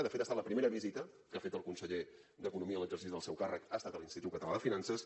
de fet ha estat la primera visita que ha fet el conseller d’economia en l’exercici del seu càrrec ha estat a l’institut català de finances